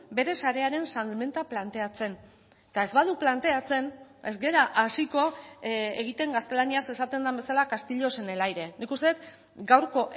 bere sarearen salmenta planteatzen eta ez badu planteatzen ez gara hasiko egiten gaztelaniaz esaten den bezala castillos en el aire nik uste dut gaurko